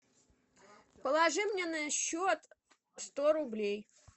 положи мне на счет сто рублей